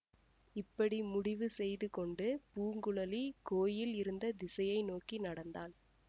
இப்படி முடிவு செய்து கொண்டு பூங்குழலி கோயில் இருந்த திசையை நோக்கி நடந்தாள்